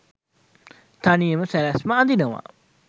තනියම සැලැස්ම අඳිනවා